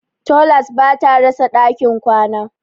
Tolas ba ta rasa ɗakin kwana.